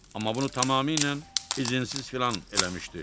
Amma bunu tamamilə izinsiz filan eləmişdi.